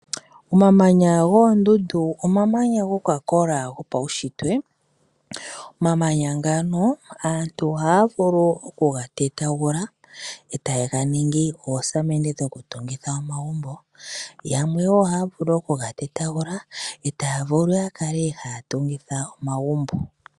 Omamanya goondundu omamanya ngo kwakola go pawushitwe, omamanya ngano aantu oha vulu oku ga tetangula ota yenganingi oosamende dho ku tungitha omagumbo yamwe wo oha vulu oku nga tetangula ota vulu yakale ha tungitha omagumbo.